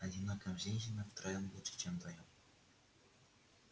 одиноким женщинам втроём лучше чем вдвоём